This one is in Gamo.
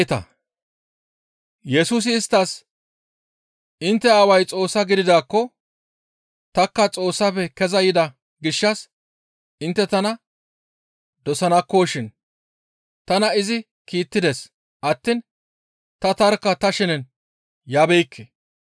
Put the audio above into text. Yesusi isttas, «Intte Aaway Xoossa gididaakko tanikka Xoossafe keza yida gishshas intte tana dosanakkoshin; tana izi kiittides attiin ta tarkka ta shenen yabeekke.